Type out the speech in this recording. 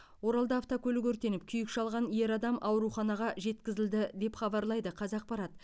оралда автокөлік өртеніп күйік шалған ер адам ауруханаға жеткізілді деп хабарлайды қазақпарат